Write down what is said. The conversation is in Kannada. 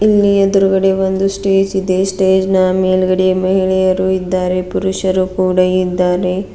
ಇಲ್ಲಿ ಎದ್ರುಗಡೆ ಒಂದು ಸ್ಟೇಜ್ ಇದೆ ಸ್ಟೇಜ್ ನ ಮೇಲ್ಗಡೆ ಮಹಿಳೆಯರು ಇದ್ದಾರೆ ಪುರುಷರು ಕೂಡ ಇದ್ದಾರೆ.